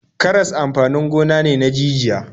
Karas amfanin gona ne na jijiya.